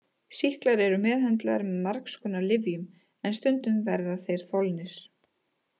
Sýklar eru meðhöndlaðir með margskonar lyfjum en stundum verða þeir þolnir.